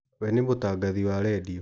We nĩ mũtagathi wa redio.